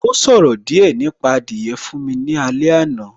Ó ṣòro díẹ̀ nípa adìyẹ fún mi lálé àná